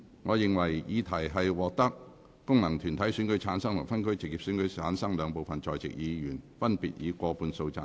我認為議題獲得經由功能團體選舉產生及分區直接選舉產生的兩部分在席議員，分別以過半數贊成。